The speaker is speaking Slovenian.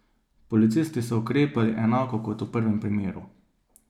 Policisti so ukrepali enako kot v prvem primeru.